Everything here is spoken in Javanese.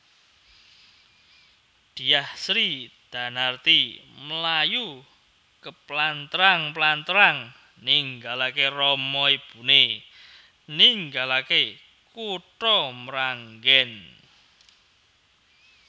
Dyah Sridanarti mlayu keplantrang plantrang ninggalaké rama ibuné ninggalaké kutha Mranggèn